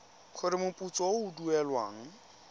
gore moputso o o duelwang